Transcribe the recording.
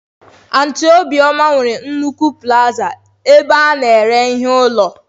Aunty obioma nwere nnukwu plazaa ebe a na-ere ihe ụlọ